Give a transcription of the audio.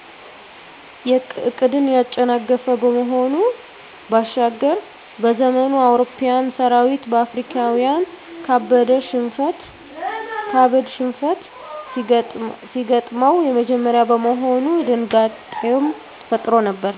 ዕቅድን ያጨናገፈ ከመሆኑ ባሻገር፤ በዘመኑ የአውሮፓዊያን ሠራዊት በአፍሪካዊያን ካበድ ሽንፈት ሲገጥመው የመጀመሪያ በመሆኑ ድንጋጤንም ፈጥሮ ነበር።